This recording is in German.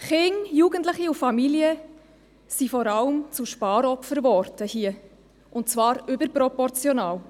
Kinder, Jugendliche und Familien wurden vor allem zu Sparopfern, und zwar überproportional.